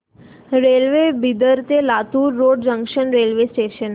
railway Bidar ते Latur road junction railway station